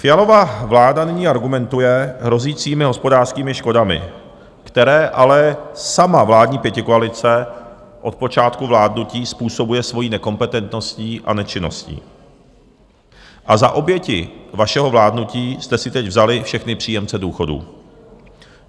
Fialova vláda nyní argumentuje hrozícími hospodářskými škodami, které ale sama vládní pětikoalice od počátku vládnutí způsobuje svojí nekompetentností a nečinností, a za oběti vašeho vládnutí jste si teď vzali všechny příjemce důchodů.